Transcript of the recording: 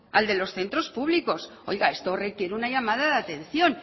al de los centros públicos oiga esto requiere una llamada de atención